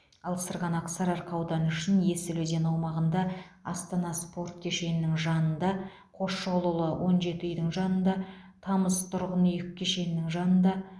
ал сырғанақ сарыарқа ауданы үшін есіл өзені аумағында астана спорт кешенінің жанына қосшығұлұлы он жеті үйдің жанында тамыз тұрғын үй кешенінің жанында